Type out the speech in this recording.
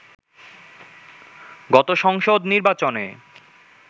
গত সংসদ নির্বাচনে